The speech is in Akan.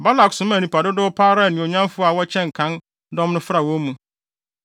Balak somaa nnipa dodow pa ara a anuonyamfo a wɔkyɛn kan dɔm no fra wɔn mu.